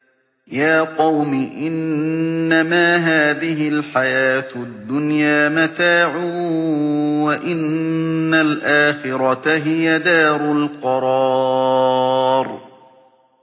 يَا قَوْمِ إِنَّمَا هَٰذِهِ الْحَيَاةُ الدُّنْيَا مَتَاعٌ وَإِنَّ الْآخِرَةَ هِيَ دَارُ الْقَرَارِ